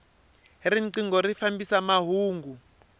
rinqingho ri fambisa mahungu